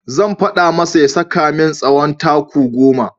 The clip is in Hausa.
Zan faɗa masa ya saka min tsawon taku goma.